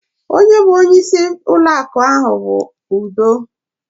Onye bụ onye ịsị bankị ahụ bụ Udo